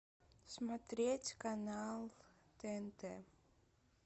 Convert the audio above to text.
смотреть канал тнт